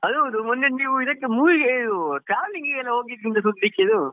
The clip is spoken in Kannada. ಅದ್ ಹೌದು ಮೊನ್ನೆ ನೀವ್ ಇದಿಕ್ಕೆ movie ಗೆ ಇದು traveling ಗೆ ಎಲ್ಲ ಹೋಗಿದ್ದು ಅಂತ ಸುದ್ದಿ ಸಿಕ್ಕಿತು .